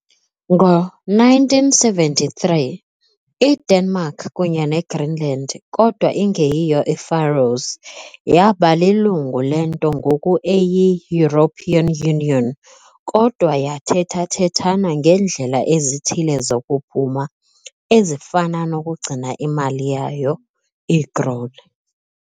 Ngo-1973, iDenmark, kunye neGreenland kodwa ingeyiyo iFaroes, yaba lilungu lento ngoku eyi- European Union, kodwa yathethathethana ngeendlela ezithile zokuphuma, ezifana nokugcina imali yayo, ikrone .